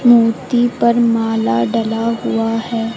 मूर्ति पर माला डला हुआ है।